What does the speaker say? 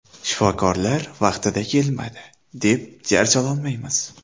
Shifokorlar vaqtida kelmadi, deb jar sololmaymiz.